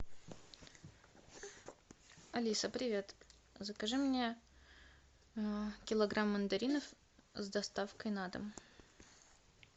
алиса привет закажи мне килограмм мандаринов с доставкой на дом